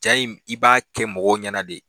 Ja in i b'a kɛ mɔgɔw ɲɛna de